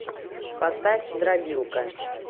поставь дробилка